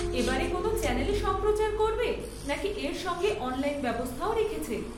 এবারে কোন চ্যানেলে সম্প্রচার করবে নাকি এর সঙ্গে অনলাইন ব্যবস্থাও রেখেছে?